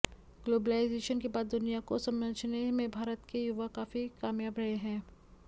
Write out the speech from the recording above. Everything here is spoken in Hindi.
ग्लोबलाइजेशन के बाद दुनिया को समझने में भारत के युवा काफी कामयाब रहे हैं